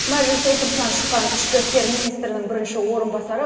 мәжіліс отырысынан шыққан ішкі істер министрінің бірінші орынбасары